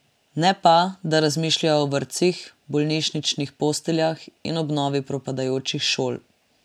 Ne pa, da razmišlja o vrtcih, bolnišničnih posteljah in obnovi propadajočih šol.